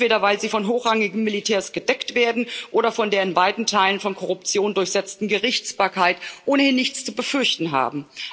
Entweder, weil sie von hochrangigen Militärs gedeckt werden, oder weil sie von der in weiten Teilen von Korruption durchsetzten Gerichtsbarkeit ohnehin nichts zu befürchten haben.